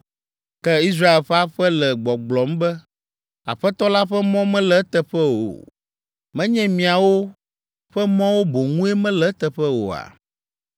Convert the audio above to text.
Ke Israel ƒe aƒe le gbɔgblɔm be, “Aƒetɔ la ƒe mɔ mele eteƒe o?” Menye miawo ƒe mɔwo boŋue mele eteƒe oa?